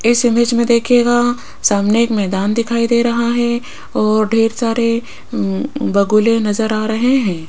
इस इमेज में देखिएगा सामने एक मैदान दिखाई दे रहा है और ढेर सारे बगुले नजर आ रहे हैं।